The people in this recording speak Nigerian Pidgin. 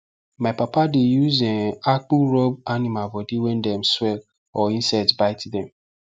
my papa dey use um akpu rub animal body when dem swell or insect bite dem